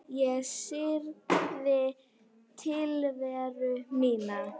Ég syrgði tilveru mína.